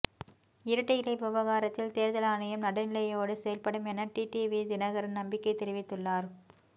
இரட்டை இலை விவகாரத்தில் தேர்தல் ஆணையம் நடுநிலையோடு செயல்படும் என டிடிவி தினகரன் நம்பிக்கை தெரிவித்துள்ளார்